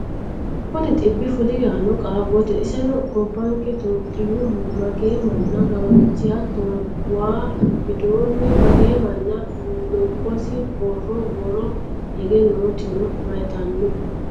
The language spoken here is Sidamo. Kuni dhibbi fuli yanna qaaggatto? Isino gobbanke itiyophiyaho magee manna gawajji? Hattono waa widoonnino magee manna lobbisi? Borro woroo higge nootino mayiitanno?